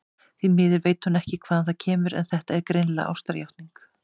Því miður veit hún ekki hvaðan það kemur, en þetta er greinilega ástarjátning.